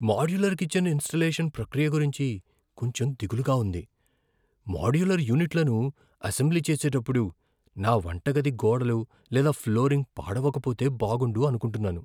Modular kitchen installation ప్రక్రియ గురించి కొంచెం దిగులుగా ఉంది. మాడ్యులర్ యూనిట్లను అసెంబ్లీ చేసేటప్పుడు నా వంటగది గోడలు లేదా ఫ్లోరింగ్ పాడవకపోతే బాగుండు అనుకుంటున్నాను.